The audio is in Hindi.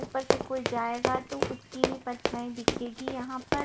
ऊपर से कोई जाएगा तो उसकी भी परछाई दिखेगी यहां पर।